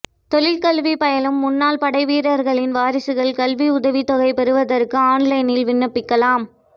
தொழிற்கல்வி பயிலும் முன்னாள் படைவீரர்களின் வாரிசுகள் கல்வி உதவித்தொகை பெறுவதற்கு ஆன்லைனில் விண்ணப்பிக்கலாம்